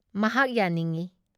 ꯃꯍꯥꯛ ꯌꯥꯅꯤꯡꯏ ꯫